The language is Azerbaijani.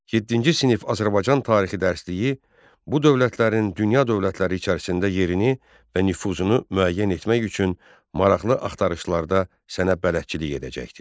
Yeddinci sinif Azərbaycan tarixi dərsliyi bu dövlətlərin dünya dövlətləri içərisində yerini və nüfuzunu müəyyən etmək üçün maraqlı axtarışlarda sənə bələdçilik edəcəkdir.